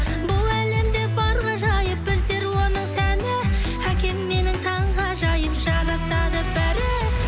бұл әлемде бар ғажайып біздер оның сәні әкем менің таңғажайып жарасады бәрі